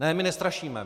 Ne, my nestrašíme.